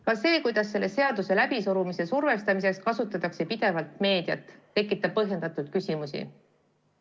Ka see, kuidas selle seaduse läbisurumiseks kasutatakse pidevalt meediat, tekitab põhjendatud küsimusi.